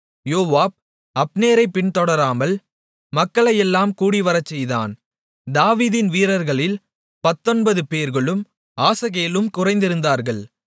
யோவாப் அப்னேரைப் பின்தொடராமல் மக்களையெல்லாம் கூடிவரச்செய்தான் தாவீதின் வீரர்களில் 19 பேர்களும் ஆசகேலும் குறைந்திருந்தார்கள்